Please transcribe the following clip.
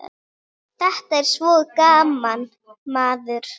Þetta er svo gaman, maður.